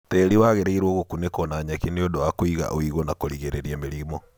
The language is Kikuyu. Tĩĩri wagĩrĩirwo gũkunĩkwo na nyeki nĩ ũndũ wa kũiga ũigũ na kũrigĩrĩria mĩrimũ.